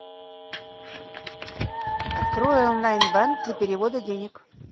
открой онлайн банк для перевода денег